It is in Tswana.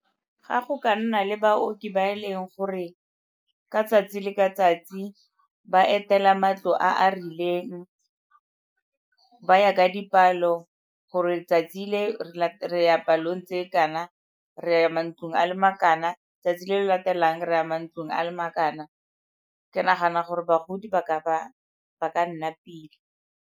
Ga go ka nna le baoki ba e leng gore ka tsatsi le ka tsatsi ba etela matlo a a rileng, ba ya ka dipalo gore 'tsatsi le re ya palong tse kana, re ya mantlong a makana, 'tsatsi le le latelang re ya mantlong a makana. Ke nagana gore bagodi ba ka nna pila.